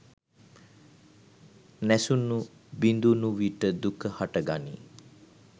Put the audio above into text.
නැසුණු බිඳුණු විට දුක හට ගනී.